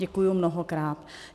Děkuji mnohokrát.